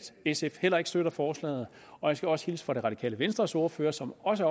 sf heller ikke støtter forslaget jeg skal også hilse fra det radikale venstres ordfører som også